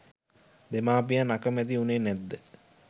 දෙමාපියන් අකමැති වුණේ නැද්ද?